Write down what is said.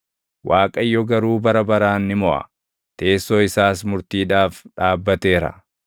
Waaqayyo garuu bara baraan ni moʼa; teessoo isaas murtiidhaaf dhaabbateera.